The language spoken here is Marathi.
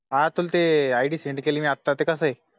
आं तुला ते आय डी सेंड केलं मी आता ते कस ए